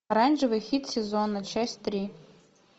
оранжевый хит сезона часть три